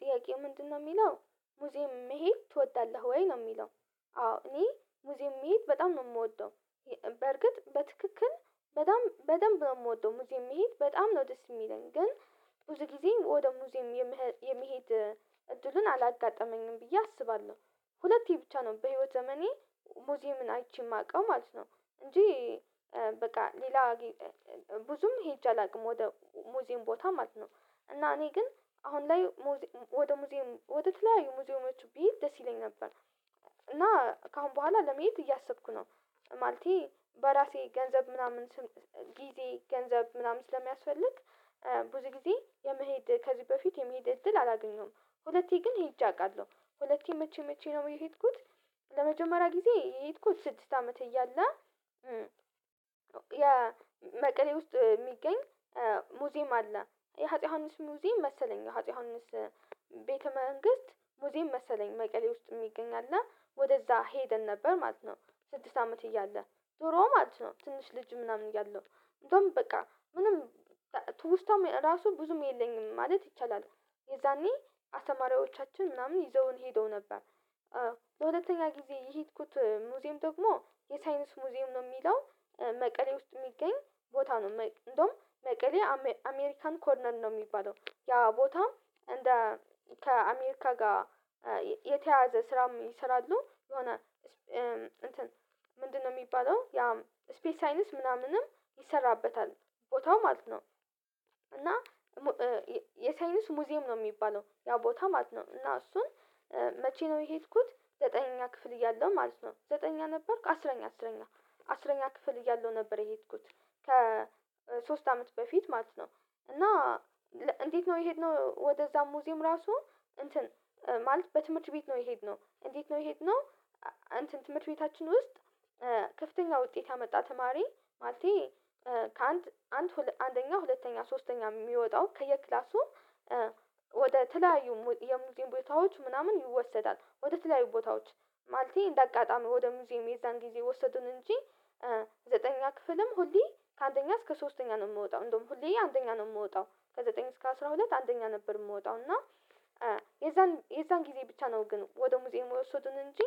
ጥያቄው ምንድነው የሚለው ሙዚየም መሄድ ትወዳለህ ወይ ነው የሚለው? አዎ እኔ ሙዚየም መሄድ በጣም ነው የምወደው። በርግጥ በትክክል በጣም በደንብ ነው የምወደው ሙዚየም መሄድ በጣም ነው ደስ የሚለኝ ግን ብዙ ጊዜ ወደ ሙዚየም የመሄድ እድሉን አላጋጠመኝም ብዬ አስባለሁ ሁለቴ ብቻ ነው በህይወቴ ዘመኔ ሙዚየምን አይቼ የማውቀው ማለት ነው። እንጂ በቃ ሌላ ብዙም ሄጄ አላውቅም ወደ ሙዚን ቦታ ማለት ነው። እና እኔ ግን አሁን ላይ ወደ ሙዚየም ወደ ትላዩ ሙዚየሞቹ ቢል ደስ ይለኝ ነበር እና ከአሁን በኋላ ለመሄድ እያሰብኩ ነው። ማለቴ በራሴ ገንዘብ ምናምን ስም ጊዜ ገንዘብ ምናምን ስለሚያስፈልግ ብዙ ጊዜ የመሄድ ከዚህ በፊት የመሄድ እድል አላገኘሁም ሁለቴ ግን ሄጄ አውቃለሁ። ሁለቴ መቼ መቼ ነው የሄድኩት? ለመጀመሪያ ጊዜ የሄድኩት ስድስት አመት እያለው ያ የመቀሌ ውስጥ የሚገኝ ሙዚየም አለ የአጼ ዮሐንስ ሙዚየም መሰለኝ የአጼ ዮሐንስ ቤተ መንግስት ሙዚም መሰለኝ መቀሌ ውስጥ የሚገኝ አለ ወደዛ ሄደን ነበር ማለት ነው። ስድስት አመት እያለ ዱሮ ማለት ነው ትንሽ ልጅ ምናምን እያለው በቃ ምንም ትውስታም ራሱ ብዙም የለኝም ማለት ይቻላል። የዛኔ አስተማሪዎቻችን ምናምን ይዘውን ሄደው ነበር። በሁለተኛ ጊዜ የሄድኩት ሙዚየም ደግሞ የሳይንስ ሙዚየም ነው የሚለው መቀሌ ውስጥ የሚገኝ ቦታ ነው እንደውም መቀሌ አሜሪካን ኮርነር ነው የሚባለው። ያ ቦታ እንደ ከአሜሪካ ጋር የተያያዘ ስራ ስላለው የሆነ እንትን ምንድነው? የሚባለው ያ ስፔስ ሳይነስ ምናምንም ይሰራበታል ቦታው ማለት ነው። እና የሳይንስ ሙዚየም ነው የሚባለው ያው ቦታ ማለት ነው። እና እሱን መቼ ነው የሄድኩት? ዘጠነኛ ክፍል እያለሁ ማለት ነው ዘጠነኛ ነበርኩ አስረኛ አስረኛ አስረኛ ክፍል እያለሁ ነበር የሄድኩት። ከሶስት አመት በፊት ማለት ነው እና እንዴት ነው የሄድነው ወደዛ ሙዚየም ራሱ እንትን ማለት በትምህርት ቤት ነው የሄድነው እንዴት ነው የሄድነው? እንትን ትምህርት ቤታችን ውስጥ ከፍተኛ ውጤት ያመጣ ተማሪ ማለቴ ከአንድ አንደኛ ሁለተኛ ሶስተኛ የሚወጣው ከየክላሱ ወደ ተለያዩ የሙዚቀን ቦታዎች ምናምን ይወሰዳል ወደ ትላልቅ ቦታዎች ማለቴ እንደ አጋጣሚ ወደ ሙዚየም የዛን ጊዜ ወሰዱን እንጂ ዘጠነኛ ክፍልም ሁሌ ከአንደኛ እስከ ሶስተኛ ነው የምወጣው እንደውም ሁሌ አንደኛ ነው የምወጣው ከዘጠኝ እስከ አስራ ሁለት አንደኛ ነበር የምወጣው እና የዛን የዛን ጊዜ ብቻ ነው ግን ወደ ሙዚህ የሚወሰዱን እንጂ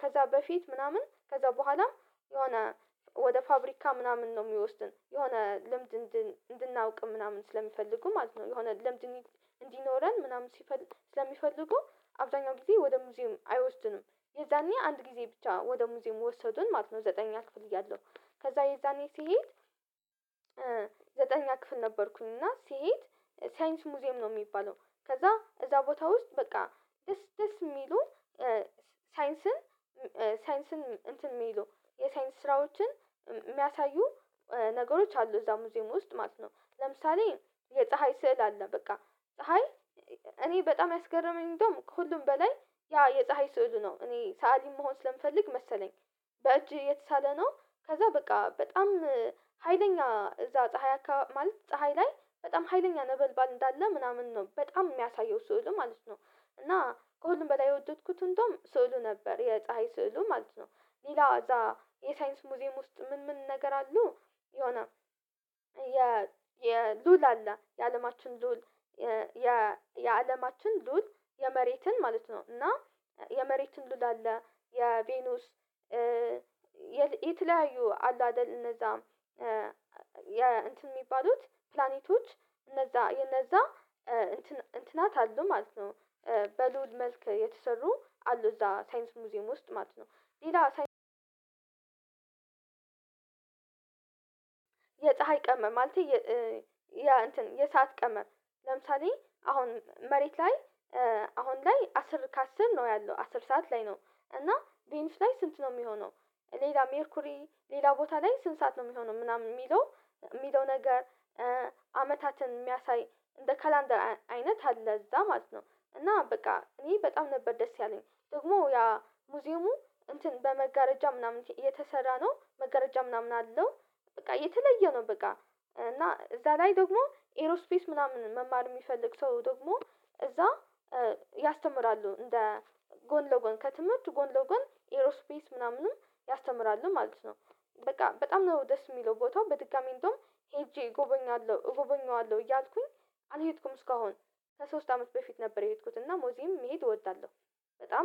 ከዛ በፊት ምናምን ከዛ በኋላ የሆነ ወደ ፋብሪካ ምናምን ነው የሚወስዱን የሆነ ልምድ እንድናውቅም ምናምን ስለሚፈልጉ ማለት ነው። የሆነ ለምድን እንዲኖረን ምናምን ሲፈልግ ስለሚፈልጉ አብዛኛው ጊዜ ወደ ሙዚየም አይወስዱንም የዛኔ አንድ ጊዜ ብቻ ወደ ሙዚየም የወሰዱን ማለት ነው። ዘጠኝ ክፍል እያለሁ ከዛ የዛኔ ስሄድ ዘጠንኛ ክፍል ነበርኩኝ እና ስሄድ ሳይንስ ሙዚየም ነው የሚባለው ከዛ እዛ ቦታ ውስጥ በቃ ደስ ደስ የሚሉ ሳይንስን ሳይንስን እንትን የሚሉ የሳይንስ ስራዎችን የሚያሳዩ ነገሮች አሉ እዛ ሙዚየም ውስጥ ማለት ነው። ለምሳሌ የፀሀይ ስዕል አለ በቃ ፀሀይ እኔ በጣም ያስገረመኝ እንደውም ከሁሉም በላይ ያ የፀሀይ ስዕሉ ነው እኔ ሰአሊ መሆን ስለምፈልግ መሰለኝ በእጅህ የተሳለ ነው ከዛ በቃ በጣም ሀይለኛ እዛ ፀሀይ ማለት ፀሀይ ላይ በጣም ሀይለኛ ነበልባል እንዳለ ምናምን ነው በጣም የሚያሳየው ስዕሉ ማለት ነው። እና ከሁሉም በላይ የወደድኩት እንደውም ስዕሉ ነበር የፀሀይ ስዕሉ ማለት ነው። ሌላ እዛ የሳይንስ ሙዚየም ውስጥ ምን ምን ነገር አሉ? የሆነ የሉል የአለማችን ሉል የአለማችን ሉል የመሬትን ማለት ነው እና የመሬት ስዕል አለ የቬኑስ የተለያዩ አሉ አይደል እነዛ የሚባሉት ፕላኔቶች እነዛ የነዛ እንትናት አሉ ማለት ነው በልዑል መልክ የተሰሩ አሉ እዛ ሳይንስ ሙዚየም ውስጥ ማለት ነው። ሌላ ሳይንስ የፀሀይ ቀመመ ማለቴ የ እንትን የሰዓት ቀመር ለምሳሌ አሁን መሬት ላይ አሁን ላይ አስር ከአስር ነው ያለው አስር ሰዓት ላይ ነው። እና ቤንስ ላይ ስንት ነው የሚሆነው? ሌላ ሜርኩሪ ሌላ ቦታ ላይ ስንት ሰዓት ነው የሚሆነው ምናምን የሚለው? የሚለው ነገር አመታትን የሚያሳይ እንደ ካላንደር አይነት አለ እዛ ማለት ነው። እና በቃ እኔ በጣም ነበር ደስ ያለኝ ደግሞ ያ ሙዚየሙ እንትን በመጋረጃ ምናምን እየተሰራ ነው መጋረጃ ምናምን አለው። በቃ የተለየ ነው በቃ እና እዛ ላይ ደግሞ ኤሮ ስፔስ ምናምን መማር የሚፈልግ ሰው ደግሞ እዛ ያስተምራሉ እንደ ጎን ለጎን ከትምህርት ጎን ለጎን ኤሮስፔስ ምናምንም ያስተምራሉ ማለት ነው። በቃ በጣም ነው ደስ የሚለው ቦታው በድጋሚ እንደውም ሄጄ እጎበኛለሁ እጎበኛለሁ እያልኩኝ አልሄድኩም እስካሁን። ለሶስት አመት በፊት ነበር የሄድኩት እና ሙዚየም መሄድ እወዳለሁ። በጣም